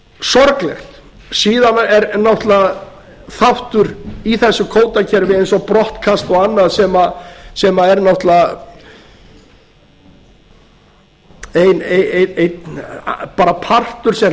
sorglegt síðan er náttúrlega þáttur í þessu kvótakerfi eins og brottkast og annað sem er náttúrlega einn bara partur sem